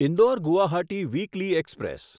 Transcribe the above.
Indore Guwahati weekly express